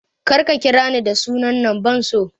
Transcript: Kar ka ƙira ni da sunan nan ban so!